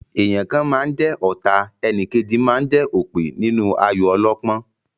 Èèyàn kan máa ń jẹ ọ̀ta, enìkejì máa ń jẹ́ òpè nínú ayò ọlọ́pọ́n.